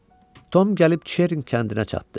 Tom gəlib çirin kəndinə çatdı.